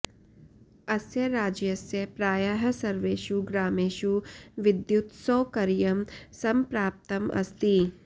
अस्य राज्यस्य प्रायः सर्वेषु ग्रामेषु विद्युत्सौकर्यं सम्प्राप्तम् अस्ति